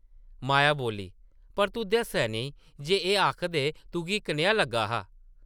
माया बोल्ली, ‘‘पर तूं दस्सेआ नेईं जे एह् आखदे तुगी कनेहा लग्गा हा?’’